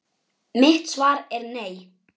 Mitt svar er nei.